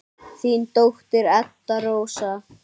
Þín dóttir, Edda Rósa.